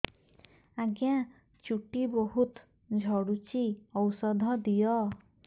ଆଜ୍ଞା ଚୁଟି ବହୁତ୍ ଝଡୁଚି ଔଷଧ ଦିଅ